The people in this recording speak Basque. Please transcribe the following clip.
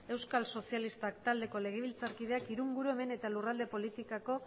euskal sozialistak taldeko legebiltzarkideak ingurumen eta lurralde politikako